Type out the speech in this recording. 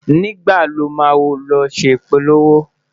nígbà ló má ló ṣé ipolowo?